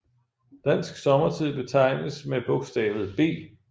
Dansk sommertid betegnes med bogstavet B